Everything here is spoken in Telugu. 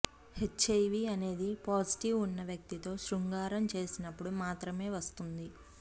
హెచ్ఐవీ అనేది పాజిటివ్ ఉన్న వ్యక్తితో శృంగారం చేసినప్పుడు మాత్రమే వస్తుంది